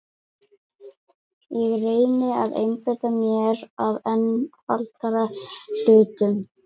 Ég reyni að einbeita mér að einfaldari hlutum.